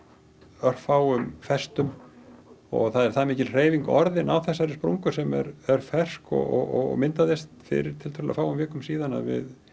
örfáum festum og það er það mikil hreyfing orðin á þessari sprungu sem er fersk og myndaðist fyrir tiltölulega fáum vikum síðan að við